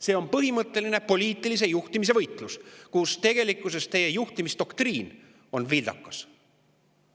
See on põhimõtteline poliitilise juhtimise võitlus, kus tegelikkuses teie juhtimisdoktriin on vildakas.